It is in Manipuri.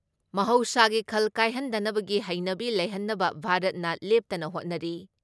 ꯃꯍꯧꯁꯥꯒꯤ ꯈꯜ ꯀꯥꯏꯍꯟꯗꯅꯕꯒꯤ ꯍꯩꯅꯕꯤ ꯂꯩꯍꯟꯅꯕ ꯚꯥꯔꯠꯅ ꯂꯦꯞꯇꯅ ꯍꯣꯠꯅꯔꯤ ꯫